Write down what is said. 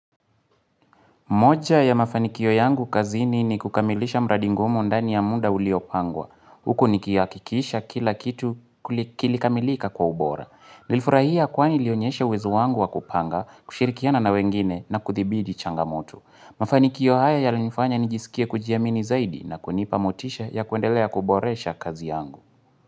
Moja ya mafanikio yangu kazini ni kukamilisha mradi ngumu ndani ya muda uliopangwa. Huku nikihakikisha kila kitu kilikamilika kwa ubora. Nilifurahia kwani ilionyesha uwezo wangu wa kupanga, kushirikiana na wengine na kuthibidi changamoto. Mafanikio haya ya linifanya nijisikia kujiamini zaidi na kunipamotisha ya kuendelea kuboresha kazi yangu.